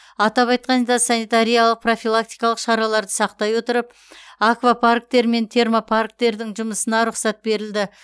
атап айтқанда санитариялық профилактикалық шараларды сақтай отырып аквапарктер мен термопарктердің жұмысына рұқсат берілді